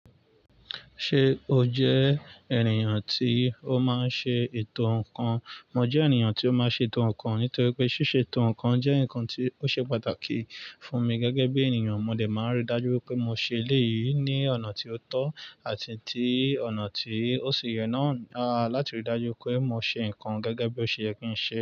Ṣé o jẹ́ ènìyàn tí ó máa ń ṣe ètò ǹkan? Mo jẹ́ ènìyàn tí ó máa ń ṣe ètò ǹkan nítorí pé ṣíṣe ètò ǹkan jẹ́ ǹkan tí ó ṣe pàtàkì fún mi gẹ́gẹ́ bí ènìyàn. Mo dè máa n rí dájú wipé mo ṣe eléyìí ní ọ̀nà tí ó tọ́ àti ní ọ̀nà tí ó sì yẹ náà láti rí dájú pé mo ṣe ǹkan gẹ́gẹ́ bí ó ṣe yẹ kí n ṣe.